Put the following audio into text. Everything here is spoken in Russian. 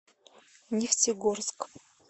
нефтегорск